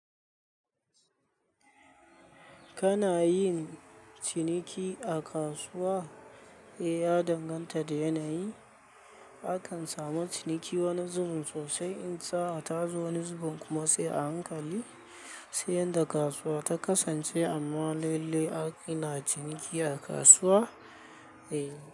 Kana yin ciniki a kasuwa? Eh, ya danganta da yanayi. Akan samu ciniki wani zubin sosai in sa a tazo wani zubin kuma sai a hankali, sai yadda kasuwa ta kasance. Amma lalle ana ciniki a kasuwa. Eh.